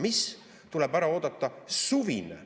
Mis?